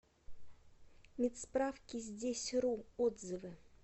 медсправкиздесьру отзывы